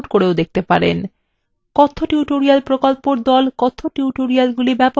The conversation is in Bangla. কথ্য tutorial প্রকল্প the কথ্য টিউটোরিয়ালগুলি ব্যবহার করে কর্মশালার আয়োজন করে